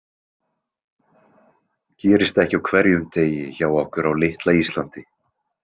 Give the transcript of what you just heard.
Gerist ekki á hverjum degi hjá okkur á litla Íslandi.